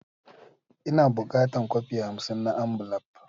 Ina bukatan kwafi hamsin na ambulaf.